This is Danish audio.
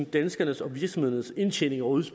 danskernes og virksomhedernes indtjening og